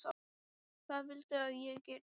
Hvað viltu að ég geri, barn?